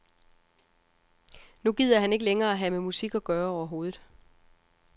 Nu gider han ikke længere have med musik at gøre overhovedet.